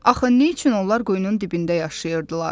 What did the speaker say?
Axı nə üçün onlar quyunun dibində yaşayırdılar?